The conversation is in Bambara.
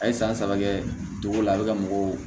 A ye san saba kɛ dugu la a bɛ ka mɔgɔw